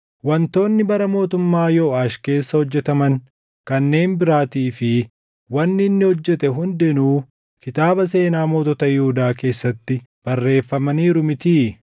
Wantoonni bara mootummaa Yooʼaash keessa hojjetaman kanneen biraatii fi wanni inni hojjete hundinuu kitaaba seenaa mootota Yihuudaa keessatti barreeffamaniiru mitii?